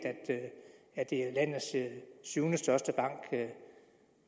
at det er landets syvende største bank